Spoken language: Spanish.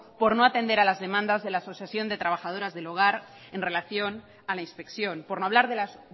por no atender a las demandas de la asociación de trabajadoras del hogar en relación a la inspección por no hablar de las